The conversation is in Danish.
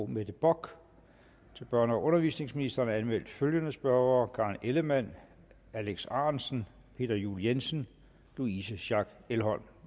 mette bock til børne og undervisningsministeren er anmeldt følgende spørgere karen ellemann alex ahrendtsen peter juel jensen louise schack elholm